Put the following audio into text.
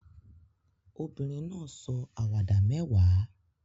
Obìnrin náà sọ àwàdà mẹ́wàá